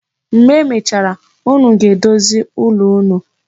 Mgbe emechara, unu ga-edozi ụlọ unu.